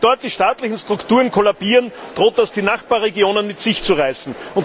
Wenn dort die staatlichen Strukturen kollabieren, droht das die Nachbarregionen mit sich zu reißen.